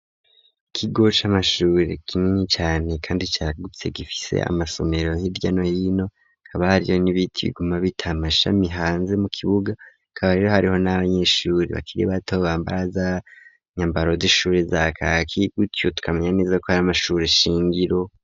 Ikigo c'amashure kinini cane, kandi cagutse ,gifise amasomero hiryano hino ,kabahariyo n'ibiti biguma bit'amashami hanze mu kibuga ,kabahariho n'abanyeshuri bakiri bato bambara za nyambaro z'ishuri za kaki ,gutyo tukamenya neza ko hari amashure shingiro.